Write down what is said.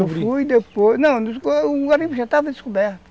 Eu fui e depois... Não, o garimpo já estava descoberto.